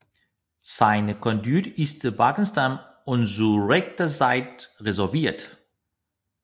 Seine Conduite ist bedachtsam und zu rechter Zeit resolvirt